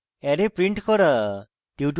array print করা